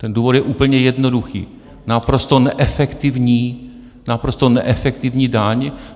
Ten důvod je úplně jednoduchý - naprosto neefektivní, naprosto neefektivní daň.